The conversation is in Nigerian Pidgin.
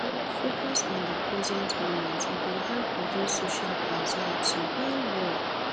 focus on the present moment e go help reduce social anxiety well well.